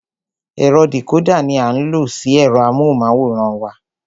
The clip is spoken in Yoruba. Ẹ̀rọ dìcódà ní a ń lo sí ẹ̀rọ amóhùnmáwòrán wa.